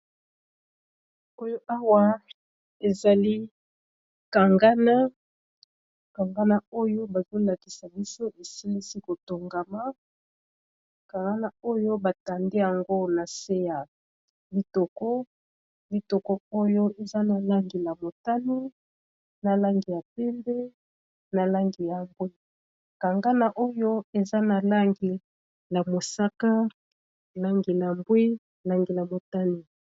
oyo awa ezali kangana kangana oyo bazolakisa biso esilisi kotongama kangana oyo batande yango na se ya litokolitoko oyo eza na langi ya motani na langi ya pembe na langi ya mbwi kangana oyo eza na langi ya mosaka langina mbwi langi ya motani